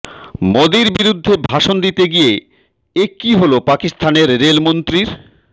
মোদীর বিরুদ্ধে ভাষণ দিতে গিয়ে এ কী হল পাকিস্তানের রেলমন্ত্রীর